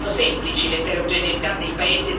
Certo, le relazioni non sono semplici.